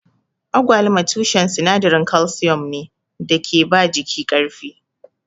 Agwaluma tushen sinadarin kalsiyom ne da ke ba jiki ƙarfi.